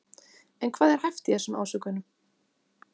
En hvað er hæft í þessum ásökunum?